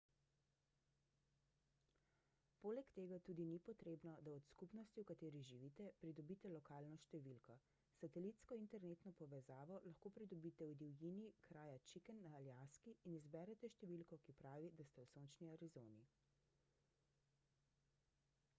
poleg tega tudi ni potrebno da od skupnosti v kateri živite pridobite lokalno številko satelitsko internetno povezavo lahko pridobite v divjini kraja chicken na aljaski in izberete številko ki pravi da ste v sončni arizoni